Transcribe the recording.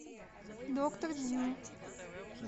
доктор дью